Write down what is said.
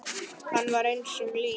Hann var eins og lík.